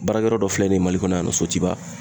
Baarakɛyɔrɔ dɔ filɛ nin ye mali kɔnɔ yan nɔ sotigiba.